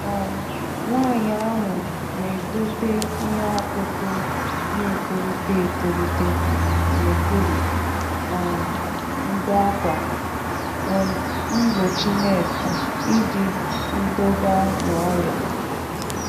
um Nwanyi ahụ na-edote iheọkụkụ na etolite etolite n'okpuru um ndo akwa um mgbochi neeti iji ndọga na oria.